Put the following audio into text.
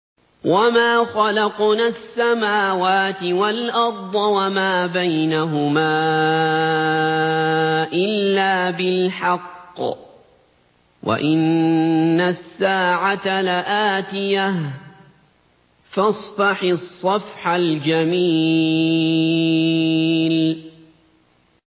وَمَا خَلَقْنَا السَّمَاوَاتِ وَالْأَرْضَ وَمَا بَيْنَهُمَا إِلَّا بِالْحَقِّ ۗ وَإِنَّ السَّاعَةَ لَآتِيَةٌ ۖ فَاصْفَحِ الصَّفْحَ الْجَمِيلَ